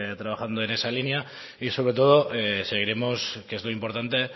trabajando en esa línea y sobre todo seguiremos que es lo importante